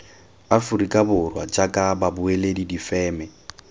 aforika borwa jaaka babueledi difeme